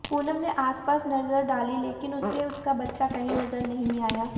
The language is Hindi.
पूनम ने आसपास नजर डाली लेकिन उसे उसका बच्चा कहीं नजर नहीं आया